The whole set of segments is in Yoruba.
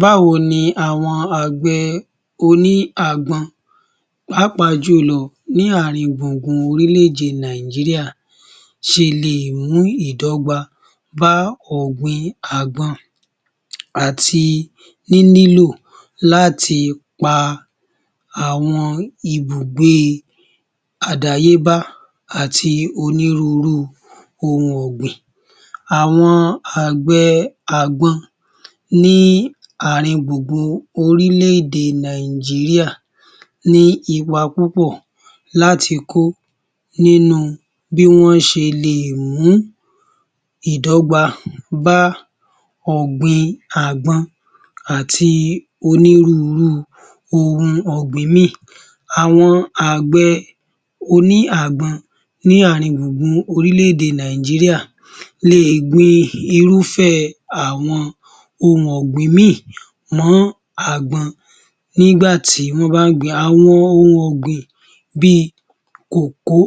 Báwo ni àwọn àgbẹ̀ oní àgbọn pàápàá jùlọ ní àrin gbùngbùn orílẹ̀-èdè Nàìjíríà ṣe le è mú ìdọ́gba bá ọ̀gbìn àgbọn àti níní lò láti pa àwọn ìbùgbé àdáyébá àti onírúurú ohun ọ̀gbìn. Àwọn àgbẹ̀ àgbọn ní àrin gbùngbùn orílẹ̀-èdè Nàìjíríà ní ipa púpọ̀ láti kó nínú bí wọ́n ṣe le è mú ìdọ́gba bá ọ̀gbìn àgbọn àti onírúurú ohun ọ̀gbìn ìmíì. Àwọn àgbẹ̀ oní àgbọn ní àrin gbùngbùn orílẹ̀-èdè Nàìjíríà le è gbin irúfẹ́ àwọn ohun ọ̀gbìn ìmíì mó àgbọn nígbà tí wọ́n bá ń gbìn-ín. Àwọn ohun ọ̀gbìn bíi kòkó,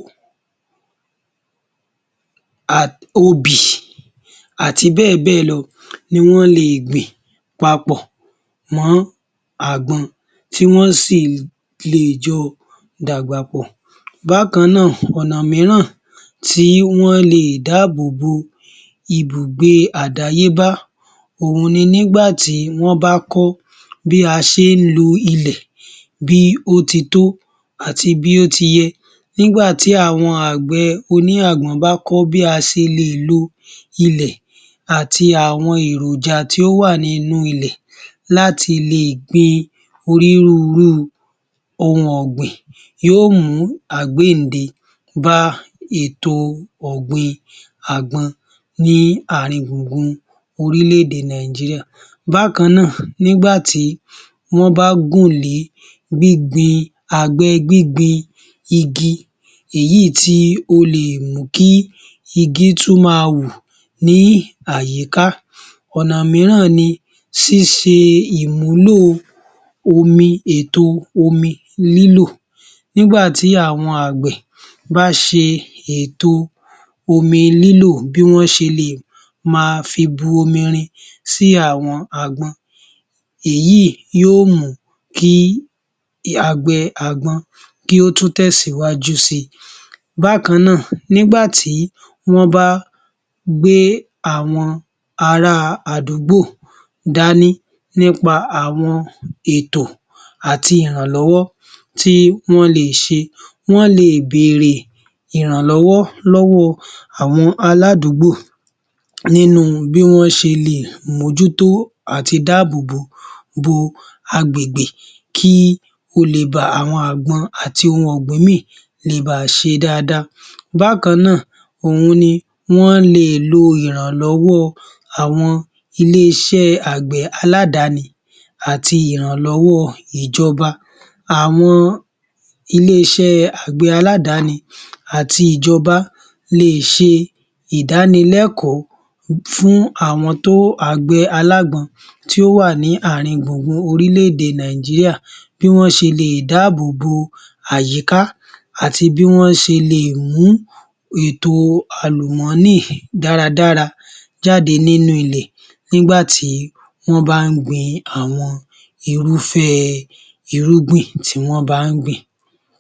obì àti bẹ́ẹ̀ bẹ́ẹ̀ lọ ni wọ́n le è gbìn papọ̀ mọ́ àgbọn tí wọ́n sì lè jo dàgbà pọ̀. Bákan náà, ọ̀nà míràn tí wọ́n le è dábòbo ìbùgbé àdáyébá òhun ni nígbà tí wọ́n bá kọ́ bí a ṣe ń lo ilẹ̀ bí ó ti tọ́ àti bí ó ṣe yẹ. Nígbà tí àwọn àgbẹ̀ oní àgbọn bá kọ́ bí a ṣe lè lo ilẹ̀ àti àwọn èròjà tí ó wà nínú ilẹ̀ láti le è gbin onírúurú ohun ọ̀gbìn, yóò mú àgbéyìnde bá ètò ọ̀gbìn àgbọn ní àrin gbùngbùn orílẹ̀-èdè Nàìjíríà. Bákan náà, nígbà tí wọ́n bá gùnlé àgbẹ̀ gbíngbin igi èyí tí ó le è mú kí igi tún ma wù ní àyíká. Ọ̀nà míràn ni ṣíṣe ìmúlò ètò omi lílò. Nígbà tí àwọn àgbẹ̀ bá ṣe ètò omi lílò bí wọ́n ṣe le è ma fi bomirin sí àwọn àgbọn, èyí yóò mú kí àgbẹ̀ àgbọn kí ó tún tẹ̀síwájú si. Bákan náà, nígbà tí wọ́n bá gbé àwọn ará àdúgbò dání nípa àwọn ètò àti ìrànlọ́wọ́ tí wọ́n le è ṣe. Wọ́n le è bèrè ìrànlọ́wọ́ lọ́wọ́ àwọn aládùúgbò nínú bí wọ́n ṣe le è mójútó àti dáàbòbò agbègbè kí àwọn àgbọn àti ohun ọ̀gbìn ìmíì le ba à ṣe dáadáa. Bákan náà, òhun ni wọ́n le è lo ìrànlọ́wọ́ àwọn ilé-iṣẹ́ àgbẹ̀ aládáni àti ìrànlọ́wọ́ ìjọba. Àwọn ilé-iṣẹ́ àgbẹ̀ aládáni àti ìjọba le è ṣe ìdánilẹ́kọ̀ọ́ fún àwọn àgbẹ̀ alágbọn tí ó wà ní àrin gbùngbùn orílẹ̀-èdè Nàìjíríà bí wọ́n ṣe le è dábòbo àyíká àti bí wọ́n ṣe le è mú ètò àlùmọ́nì dáradára jáde nínú ilẹ̀ nígbà tí wọ́n bá ń gbin àwọn irúfẹ́ irúgbìn tí wọ́n bá ń gbìn.